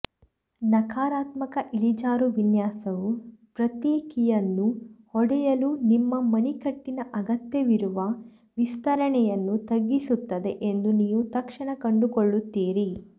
ನಕಾರಾತ್ಮಕ ಇಳಿಜಾರು ವಿನ್ಯಾಸವು ಪ್ರತಿ ಕೀಯನ್ನು ಹೊಡೆಯಲು ನಿಮ್ಮ ಮಣಿಕಟ್ಟಿನ ಅಗತ್ಯವಿರುವ ವಿಸ್ತರಣೆಯನ್ನು ತಗ್ಗಿಸುತ್ತದೆ ಎಂದು ನೀವು ತಕ್ಷಣ ಕಂಡುಕೊಳ್ಳುತ್ತೀರಿ